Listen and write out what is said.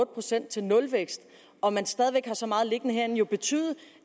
procent til nulvækst og man stadig væk har så meget liggende herinde jo betyde